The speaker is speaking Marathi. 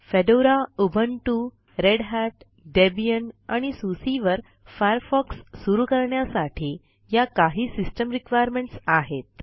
fedora Ubuntu Red Hat Debian आणि सुसे वर फायरफॉक्स सुरू करण्यासाठी या काही सिस्टम रिक्वायरमेंट्स आहेत